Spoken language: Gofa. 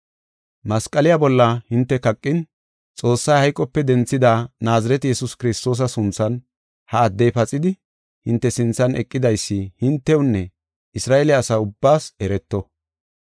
masqaliya bolla hinte kaqin, Xoossay hayqope denthida Naazirete Yesuus Kiristoosa sunthan ha addey paxidi hinte sinthan eqidaysi hintewunne Isra7eele asa ubbaas ereto.